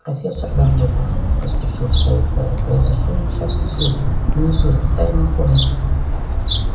профессор дамблдор поспешил вставить гарри произошёл несчастный случай внизу в тайной комнате